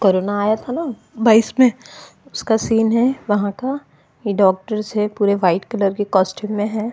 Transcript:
Corona आया था ना बाइस में उसका सीन हैं वहाँ का ये डॉक्टर्स हैं पूरे व्हाइट कलर के कॉस्ट्यूम में हैं।